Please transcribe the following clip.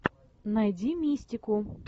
найди мистику